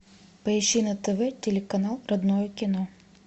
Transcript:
поищи на тв телеканал родное кино